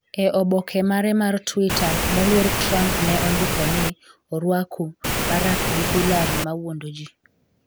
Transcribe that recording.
E oboke mare mar Twitter, moluor Trump ne ondiko ni, "orwak u, Barack gi Hillary mawuondo ji'.